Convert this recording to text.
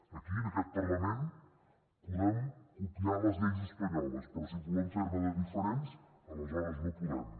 aquí en aquest parlament podem copiar les lleis espanyoles però si volem fer ne de diferents aleshores no podem